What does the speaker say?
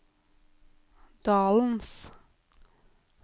dalens